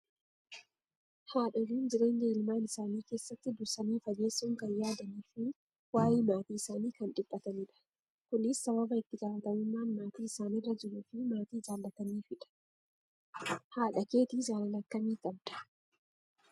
Haadholiin jireenya ilmaan isaanii keessatti dursanii fageessuun kan yaadanii fi waayee maatii isaanii kan dhiphatanidha. Kunis sababa itti gaafatamummaan maatii isaanirra jiruu fi maatii jaallataniifidha. Haadha keetii jaalala akkamii qabda ?